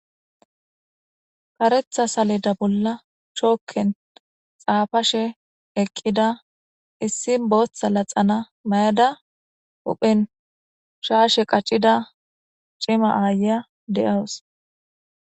Karetha saleda bolla chooken xaafashe eqqida issi bootha laxana mayada huphen shaashe qaccida cima aayiya de'awus.